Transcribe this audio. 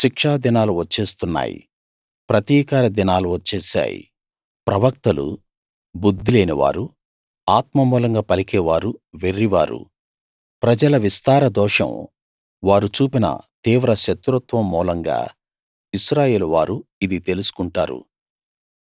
శిక్షా దినాలు వచ్చేస్తున్నాయి ప్రతికార దినాలు వచ్చేశాయి ప్రవక్తలు బుద్ధిలేని వారు ఆత్మ మూలంగా పలికే వారు వెర్రివారు ప్రజల విస్తార దోషం వారు చూపిన తీవ్ర శత్రుత్వం మూలంగా ఇశ్రాయేలువారు ఇది తెలుసుకుంటారు